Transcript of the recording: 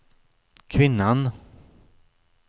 kvinnan